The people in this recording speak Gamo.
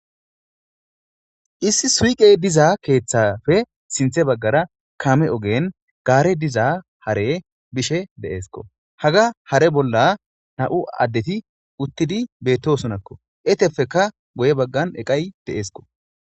issi suqey diza keeththafe sinthe baggara kaame ogen gaare diza hare bishe de7eesko haga hare bolla na7u addeti uttidi beettosonakko etefeka goye baggan eqay deeesko